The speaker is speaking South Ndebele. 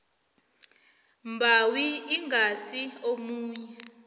mbawi ingasi omunye